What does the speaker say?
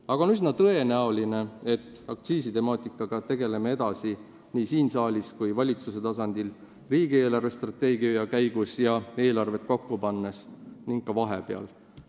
Aga on üsna tõenäoline, et aktsiisitemaatikaga me tegeleme edasi nii siin saalis kui ka valitsuse tasandil riigi eelarvestrateegia arutamise käigus, eelarvet kokku pannes ning ka vahepeal.